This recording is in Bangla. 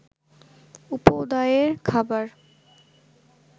উপাদেয় খাবার